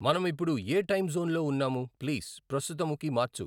మనము ఇప్పుడు ఏ టైము జోనులో వున్నాము ప్లీజ్ ప్రస్తుతము కి మార్చు